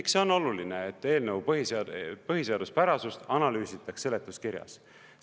Miks see on oluline, et eelnõu põhiseaduse põhiseaduspärasust analüüsitakse seletuskirjas?